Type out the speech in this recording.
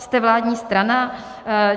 Jste vládní strana.